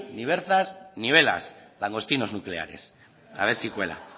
ni berzas ni velas langostinos nucleares a ver si cuela